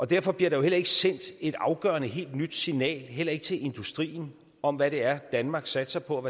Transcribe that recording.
derfor bliver der jo heller ikke sendt et afgørende helt nyt signal heller ikke til industrien om hvad det er danmark satser på